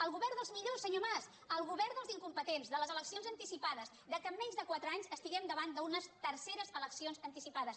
el go·vern dels millors senyor mas el govern dels incom·petents de les eleccions anticipades del fet que en menys de quatre anys estiguem davant d’unes terceres eleccions anticipades